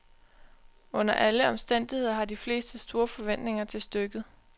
Under alle omstændigheder har de fleste store forventninger til stykket.